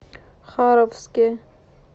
харовске